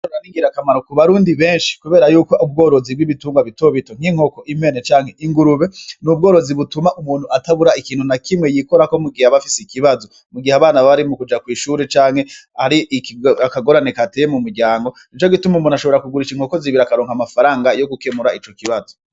Ubworozi n'ingirakamaro ku barundi benshi, kubera yuko ubworozi bw'ibitungwa bitobito nk'inkoko impene canke ingurube n'ubworozi butuma umuntu atabura ikintu na kimwe yikora ko mu gihe abafise ikibazo mu gihe abana bari mu kuja kw'ishuri canke hari akagorane kateye mu muryango nico gituma umuntu ashobora kugurisha inkoko zibiri akaronka amafaranga yo gukemura ico kibazo.